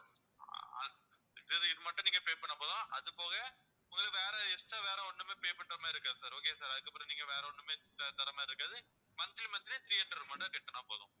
அது இது மட்டும் நீங்க pay பண்ணா போதும் அது போக உங்களுக்கு வேற extra வேற ஒண்ணுமே pay பண்ற மாதிரி இருக்காது sir okay வா sir அதுக்கப்பறம் நீங்க வேற ஒண்ணுமே தர்ற மாதிரி இருக்காது monthly monthly three hundred மட்டும் கட்டினா போதும்